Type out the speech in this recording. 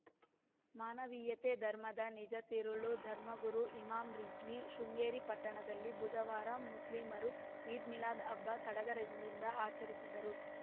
ಮಾನವೀಯತೆ ಧರ್ಮದ ನಿಜ ತಿರುಳು ಧರ್ಮಗುರು ಇಮಾಮ್‌ ರಿಜ್ವಿ ಶೃಂಗೇರಿ ಪಟ್ಟಣದಲ್ಲಿ ಬುಧವಾರ ಮುಸ್ಲಿಮರು ಈದ್‌ ಮಿಲಾದ್‌ ಹಬ್ಬ ಸಡಗರದಿಂದ ಆಚರಿಸಿದರು